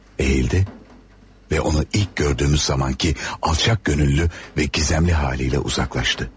Əyildi və onu ilk gördüyümüz zamankı alçaq gönüllü və gizəmli halıyla uzaqlaşdı.